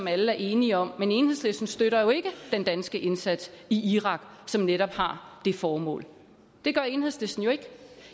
alle er enige om men enhedslisten støtter jo ikke den danske indsats i irak som netop har det formål det gør enhedslisten jo ikke